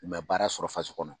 U ma baara sɔrɔ fasi kɔnɔ.